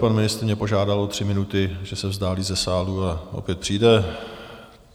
Pan ministr mě požádal o tři minuty, že se vzdálí ze sálu a opět přijde.